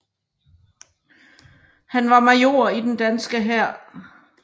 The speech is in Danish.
Han var major i den danske hær